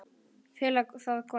Fela það hvar?